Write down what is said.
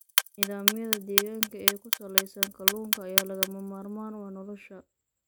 Nidaamyada deegaanka ee ku salaysan kalluunka ayaa lagama maarmaan u ah nolosha.